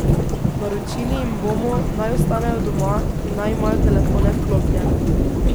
Naročili jim bomo, naj ostanejo doma in naj imajo telefone vklopljene.